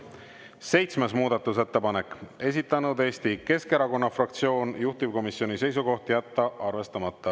Seitsmes muudatusettepanek, esitanud Eesti Keskerakonna fraktsioon, juhtivkomisjoni seisukoht on jätta arvestamata.